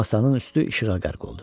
Masanın üstü işığa qərq oldu.